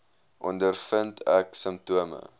ondervind ek simptome